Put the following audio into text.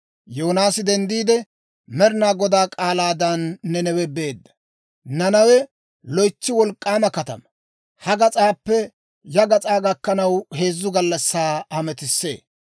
Yoonaasi denddiide, Med'inaa Godaa k'aalaadan Nanawe beedda. Nanawe loytsi wolk'k'aama katamaa; ha gas'aappe ya gas'aa gakkanaw heezzu gallassaa hametisee.